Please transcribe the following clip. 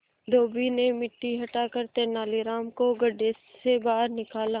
धोबी ने मिट्टी हटाकर तेनालीराम को गड्ढे से बाहर निकाला